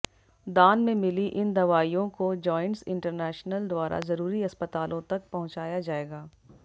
दान में मिली इन दवाईयों को जायंट्स इंटरनॅशनल द्वारा जरुरी अस्पतालों तक पहुंचाया जाएगा